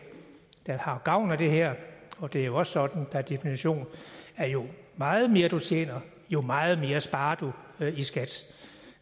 der har gavn af det her og det er jo også sådan per definition at jo meget mere du tjener jo meget mere sparer du i skat